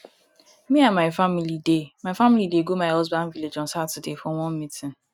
me and my family dey my family dey go my husband village on saturday for one meeting